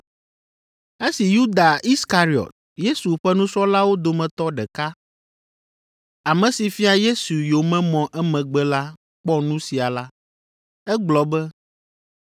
Esi Yuda Iskariɔt, Yesu ƒe nusrɔ̃lawo dometɔ ɖeka, ame si fia Yesu yomemɔ emegbe la kpɔ nu sia la, egblɔ be,